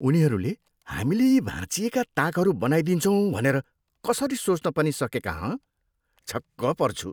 उनीहरूले हामीले यी भाँचिएका ताकहरू बनाइदिन्छौँ भनेर कसरी सोच्न पनि सकेका, हँ? छक्क पर्छु।